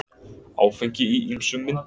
Áfengi í ýmsum myndum.